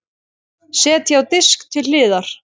Setjið á disk til hliðar.